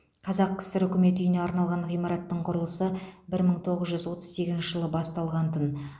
қазақ кср үкімет үйіне арналған ғимараттың құрылысы бір мың тоғыз жүз отыз сегізінші жылы басталған тын